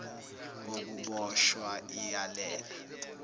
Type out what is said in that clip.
kokubosh wa iyalela